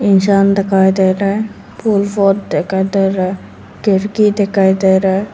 इंसान दिखाई दे रहा है फूल पॉट दिखाई दे रहा है खिड़की दिखाई दे रहा है।